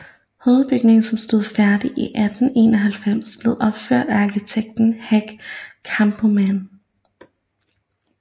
Hovedbygningen som stod færdig i 1891 blev opført af arkitekt Hack Kampmann